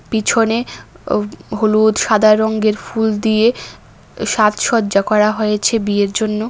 পিছনে অ হলুদ সাদা রঙ্গের ফুল দিয়ে সাজসজ্জা করা হয়েছে বিয়ের জন্য।